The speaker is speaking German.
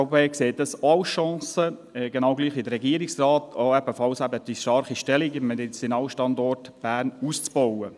Die SVP sieht es auch als Chance, genau gleich wie der Regierungsrat, eben die starke Stellung im Medizinalstandort Bern auszubauen.